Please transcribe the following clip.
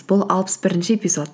бұл алпыс бірінші эпизод